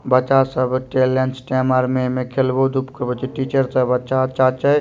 बच्चा सब टे लेंच टाइम अर में खेलबो धुप कहबो चि टीचर सब अच्छा-अच्छा छय।